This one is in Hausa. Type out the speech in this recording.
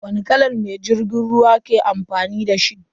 Wani kalan mai jirgin ruwa ke amfani dashi?